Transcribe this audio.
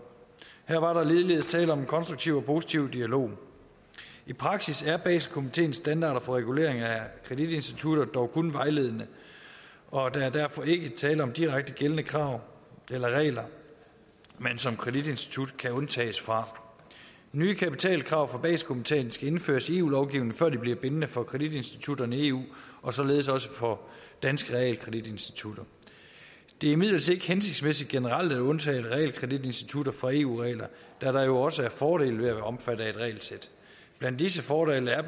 her var der ligeledes tale om en konstruktiv og positiv dialog i praksis er baselkomiteens standarder for regulering af kreditinstitutter dog kun vejledende og der er derfor ikke tale om direkte gældende krav eller regler man som kreditinstitut kan undtages fra nye kapitalkrav for baselkomiteen skal indføres i eu lovgivningen før de bliver bindende for kreditinstitutter i eu og således også for danske realkreditinstitutter det er imidlertid ikke hensigtsmæssigt generelt at undtage realkreditinstitutter fra eu regler da der jo også er fordele ved at være omfattet af et regelsæt blandt disse fordele er